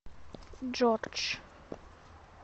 джордж